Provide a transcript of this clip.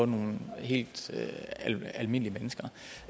nogle helt almindelige mennesker